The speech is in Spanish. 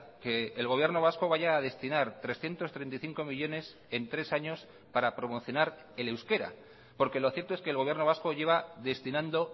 que el gobierno vasco vaya a destinar trescientos treinta y cinco millónes en tres años para promocionar el euskera porque lo cierto es que el gobierno vasco lleva destinando